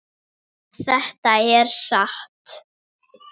Þetta er satt!